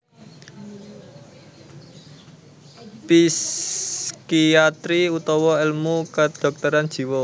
Psikiatri utawa èlmu kedhokteran jiwa